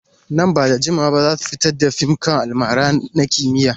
Nan ba da jimawa ba za su fitar da fim kan almara na kimiyya.